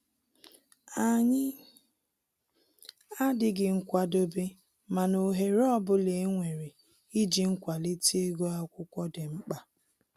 Anyi adịghị nkwadobe mana ohere ọbụla e nwere ịji kwalite ịgụ akwụkwọ dị mkpa